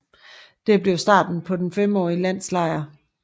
Det blev starten på den femårlige landslejr